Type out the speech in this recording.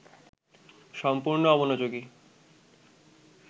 সম্পূর্ণ অমনোযোগী